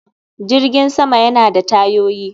Jirgin sama yana da tayoyi